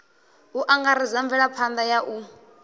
u angaredza mvelaphanḓa ya u